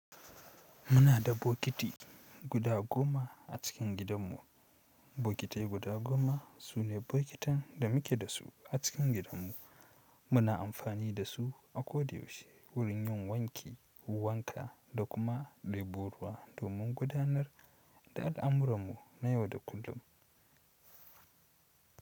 Muna da bokiti guda goma a cikin gidanmu. Bokitai guda goma su ne bokitan da muke da su a cikin gidanmu. Muna amfani da su a ko da yaushe wurin yin wanki, wanka da kuma ɗebo ruwa domin gudanar da al'amuranmu na yau da kullum.